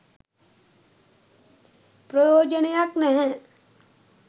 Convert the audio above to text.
ප්‍රයෝජනයක් නැහැ